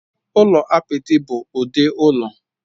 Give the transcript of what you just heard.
Ụlọ apịtị bụ ụdị ụlọ.